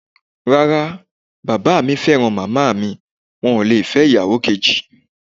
Rárá, bàbá mi fẹ́ràn màmá mi wọn ò lè fẹ́ ìyàwó kejì.